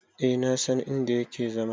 E na san in da yake zama.